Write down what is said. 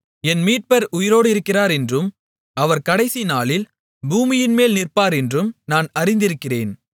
என் மீட்பர் உயிரோடிருக்கிறார் என்றும் அவர் கடைசி நாளில் பூமியின்மேல் நிற்பார் என்றும் நான் அறிந்திருக்கிறேன்